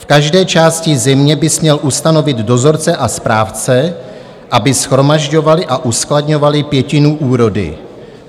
V každé části země bys měl ustanovit dozorce a správce, aby shromažďovali a uskladňovali pětinu úrody.